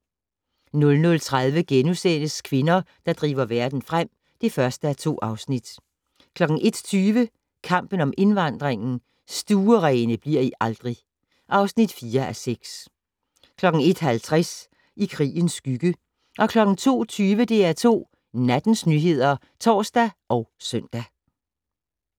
00:30: Kvinder, der driver verden frem (1:2)* 01:20: Kampen om indvandringen - "Stuerene bliver I aldrig!" (4:6) 01:50: I krigens skygge 02:20: DR2 Nattens nyheder (tor og søn)